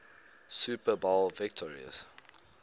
super bowl victories